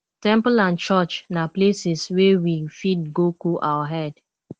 temple and church na places wey we fit go cool our head